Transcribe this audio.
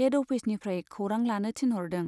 Head अफिसनिफ्राइ खौरां लानो थिनहरदों।